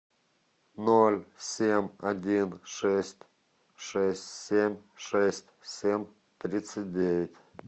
ноль семь один шесть шесть семь шесть семь тридцать девять